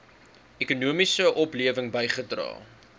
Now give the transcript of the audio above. ekonomiese oplewing bygedra